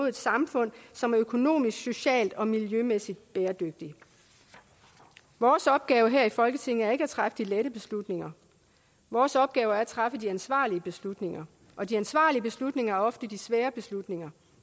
et samfund som er økonomisk socialt og miljømæssigt bæredygtigt vores opgave her i folketinget er ikke at træffe de lette beslutninger vores opgave er at træffe de ansvarlige beslutninger og de ansvarlige beslutninger er ofte de svære beslutninger